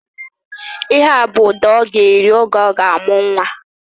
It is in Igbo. Ihea bụ ụda ọ ga-eri oge ọ ga-amụ nwa